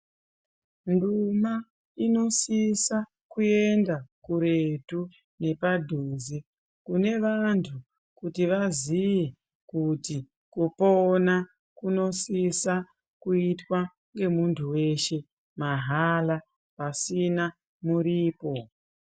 Nduma inosisa kuenda kuretu nepadhuze, kune vantu kuti vaziye kuti kupona kunosisa kuitwa ngemuntu weshe mahala pasina muripo.